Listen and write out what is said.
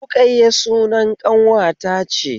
Ruƙayya sunan ƙanwata ce